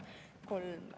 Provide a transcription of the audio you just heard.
Kolm …